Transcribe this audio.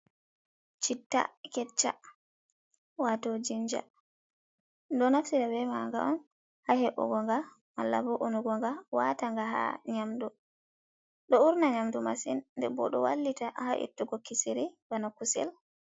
Chitta kecca wato jinja ɗum ɗo naftira ɓe maga on ha he’ugoga malla ɓo unugoga wataga ha nyamdu ɗo urna nyamdu masin nden ɓo do wallita ha ittugo kisiri ɓana kusel.